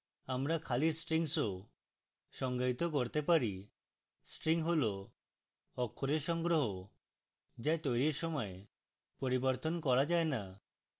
আমরা খালি strings of সংজ্ঞায়িত করতে পারি string হল অক্ষরের সংগ্রহ যা তৈরীর পর পরিবর্তন করা যায় না